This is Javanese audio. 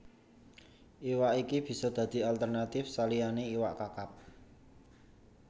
Iwak iki bisa dadi alternatif saliyané iwak Kakap